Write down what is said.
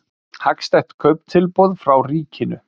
Hagstætt kauptilboð frá ríkinu